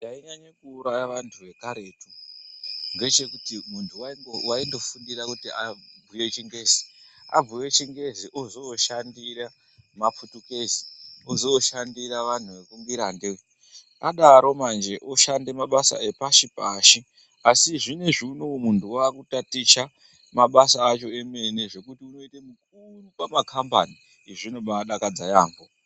Chainyanya kuuraya vantu vekaretu ngechekuti muntu waindofundira kuti abhuye chingezi, abhuye chingezi ozooshandira maphutukezi, ozoshandira vanhu vekungirande adaro manje oshande mabasa epashi-pashi asi zvinezvi unowu muntu wakutaticha mabasa acho emene zvekuti unoite mukuru pakambani. Izvi zvinodakadza yaamho.